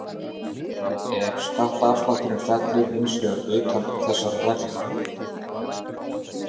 Ef skattaaflátturinn fellur hins vegar utan þessara reglna.